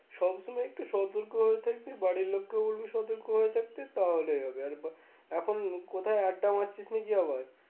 সব সময় একটুও সতর্কভাবে থাকবি বাড়ির লোককেও বলবি সতর্কভাবে থাকতে তাহলেই হবে এখন কোথাও আড্ডা মারছিস নাকি আবার?